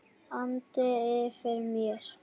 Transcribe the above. andi yfir mér.